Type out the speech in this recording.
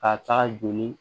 Ka taa joli